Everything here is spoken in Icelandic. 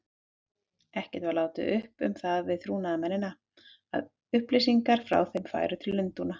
Ekkert var látið uppi um það við trúnaðarmennina, að upplýsingar frá þeim færu til Lundúna.